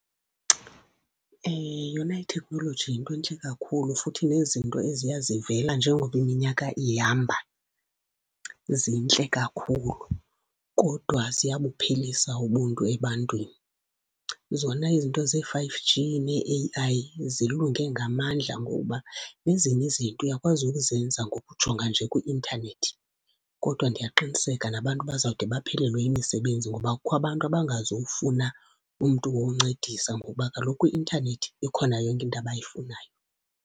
Yona iteknoloji yinto entle kakhulu. Futhi nezinto eziya zivela njengoba iminyaka ihamba zintle kakhulu, kodwa ziyabuphelisa ubuntu ebantwini. Zona izinto zee-five G nee-A_I zilunge ngamandla ngokuba nezinye izinto uyakwazi ukuzenza ngokujonga nje kwi-intanethi, kodwa ndiyaqiniseka nabantu bazawude baphelelwe yimisebenzi. Ngoba kukho abantu abangazufuna umntu woncedisa ngoba kaloku kwi-intanethi ikhona yonke into abayifunayo.